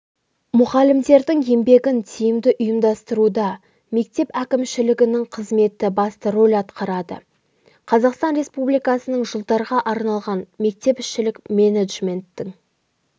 мұғалімдердің еңбегін тиімді ұйымдастыруда мектеп әкімшілігінің қызметі басты рөл атқарады қазақстан республикасының жылдарға арналған мектепішілік менеджменттің